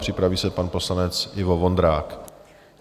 Připraví se pan poslanec Ivo Vondrák.